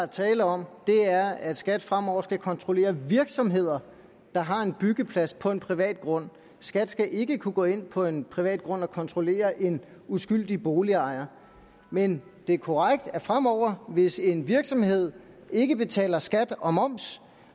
er tale om er at skat fremover skal kontrollere virksomheder der har en byggeplads på en privat grund skat skal ikke kunne gå ind på en privat grund og kontrollere en uskyldig boligejer men det er korrekt at fremover hvis en virksomhed ikke betaler skat og moms